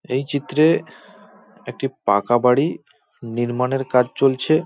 এই চিত্রে একটি পাকা বাড়ি নির্মাণের কাজ চলছে ।